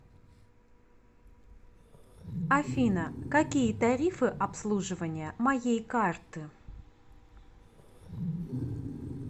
афина какие тарифы обслуживания моей карты